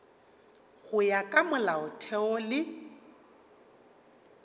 go ya ka molaotheo le